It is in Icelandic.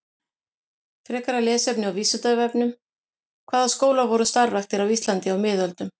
Frekara lesefni á Vísindavefnum: Hvaða skólar voru starfræktir á Íslandi á miðöldum?